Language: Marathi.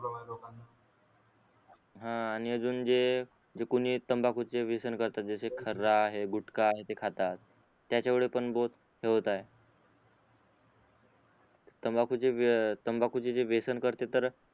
हान आणि अजून जे जे कोणी तंबाकूचे व्यसन करत जस खर्हा गुटका आणि ते खातात त्याचा मुळे पण बघ तंबाकू तंबाकू चे जे व्यसन करते तर